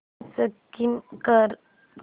skip कर